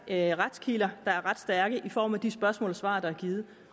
er retskilder der er ret stærke også i form af de spørgsmål og svar der er givet